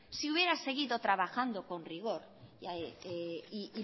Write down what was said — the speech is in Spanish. si hubiera seguido trabajando con rigor y